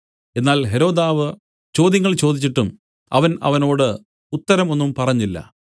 എന്നാൽ ഹെരോദാവ് ചോദ്യങ്ങൾ ചോദിച്ചിട്ടും അവൻ അവനോട് ഉത്തരം ഒന്നും പറഞ്ഞില്ല